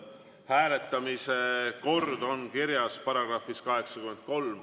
Hääletamise kord on kirjas §‑s 83.